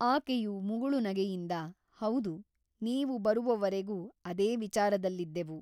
ಆಕೆಯು ಮುಗುಳುನಗೆಯಿಂದ ಹೌದು ನೀವು ಬರುವವರೆಗೂ ಅದೇ ವಿಚಾರದಲ್ಲಿದ್ದೆವು.